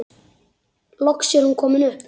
Loks er hún komin upp.